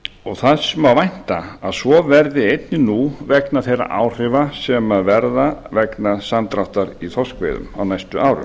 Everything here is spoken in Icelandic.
og þess má vænta að svo verði einnig nú vegna þeirra áhrifa sem verða vegna samdráttar í þorskveiðum á næstu árum